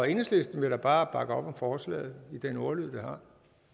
enhedslisten vil da bare bakke op om forslaget i den ordlyd